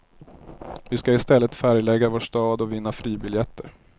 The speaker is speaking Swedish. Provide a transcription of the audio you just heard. Vi ska istället färglägga vår stad och vinna fribiljetter.